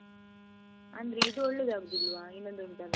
ಅಂದ್ರೆ ಇದು ಒಳ್ಳೆದಾಗುದಿಲ್ವ ಇನ್ನೊಂದು ಉಂಟಲ್ಲ?